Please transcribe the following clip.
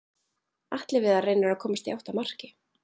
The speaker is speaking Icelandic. Atli Viðar reynir að komast í átt að marki.